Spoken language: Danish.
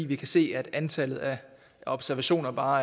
vi kan se at antallet af observationer bare